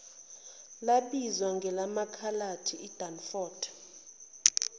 labizwa ngelamakhaladi idunford